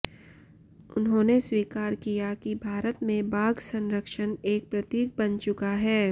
उन्होंने स्वीकार किया कि भारत में बाघ संरक्षण एक प्रतीक बन चुका है